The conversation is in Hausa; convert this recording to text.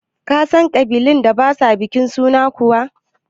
Ka san ƙabilun da ba sa bikin suna kuwa?